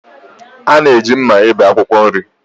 Ana eji mma ebé akwụkwọ nri.